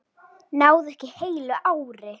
Náði ekki heilu ári.